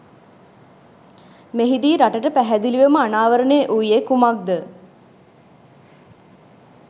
මෙහිදී රටට පැහැදිලිවම අනාවරණය වූයේ කුමක්‌ද?